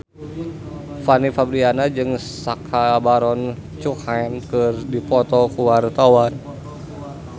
Fanny Fabriana jeung Sacha Baron Cohen keur dipoto ku wartawan